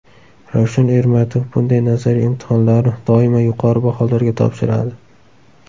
Ravshan Ermatov bunday nazariy imtihonlarni doimo yuqori baholarga topshiradi.